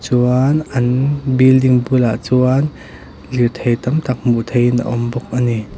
chuan an building bulah chuan lirthei tam tak hmuh theihin a awm bawk a ni.